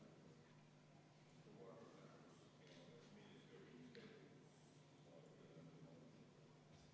Muudatusettepaneku poolt on 56 saadikut, vastuhääli ei ole, erapooletuid on 1.